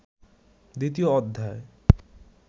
দ্বিতীয় অধ্যায়